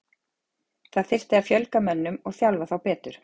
Það þyrfti að fjölga mönnum og þjálfa þá betur.